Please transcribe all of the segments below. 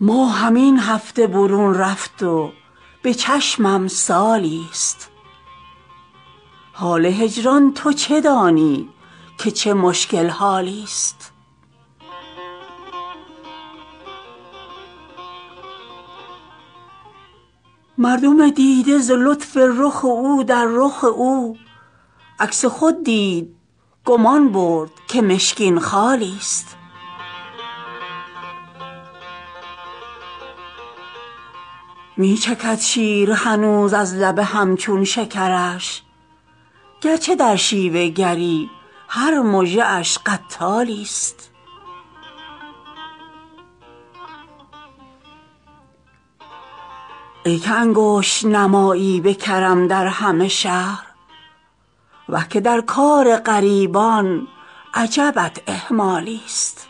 ماهم این هفته برون رفت و به چشمم سالی ست حال هجران تو چه دانی که چه مشکل حالی ست مردم دیده ز لطف رخ او در رخ او عکس خود دید گمان برد که مشکین خالی ست می چکد شیر هنوز از لب هم چون شکرش گر چه در شیوه گری هر مژه اش قتالی ست ای که انگشت نمایی به کرم در همه شهر وه که در کار غریبان عجبت اهمالی ست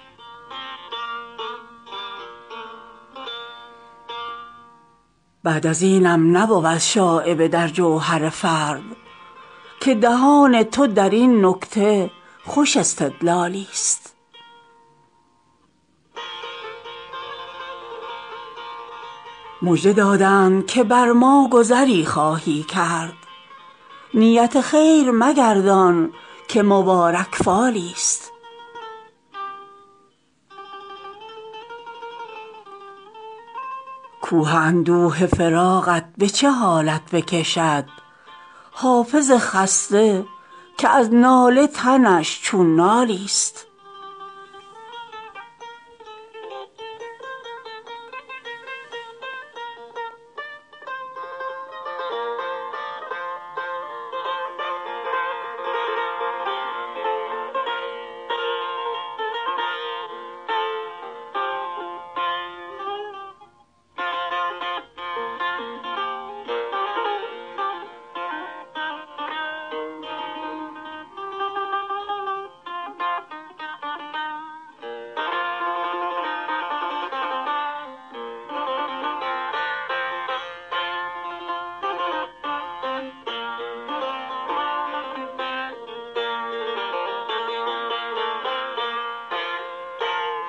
بعد از اینم نبود شایبه در جوهر فرد که دهان تو در این نکته خوش استدلالی ست مژده دادند که بر ما گذری خواهی کرد نیت خیر مگردان که مبارک فالی ست کوه اندوه فراقت به چه حالت بکشد حافظ خسته که از ناله تنش چون نالی ست